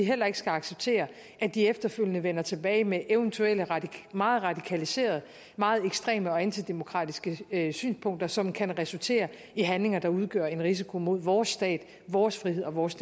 heller ikke skal acceptere at de efterfølgende vender tilbage med eventuelle meget radikaliserede meget ekstreme og antidemokratiske synspunkter som kan resultere i handlinger der udgør en risiko mod vores stat vores frihed og vores